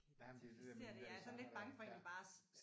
Jamen det er det der med de genrer der